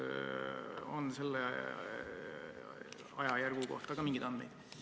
Kas on selle ajajärgu kohta ka mingeid andmeid?